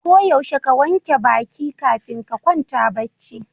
Ko yaushe ka wanke baƙi kafin ka kwanta bacci.